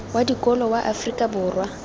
wa dikolo wa afrika borwa